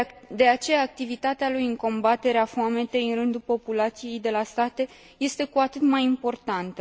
De aceea, activitatea lui în combaterea foametei în rândul populației de la sate este cu atât mai importantă.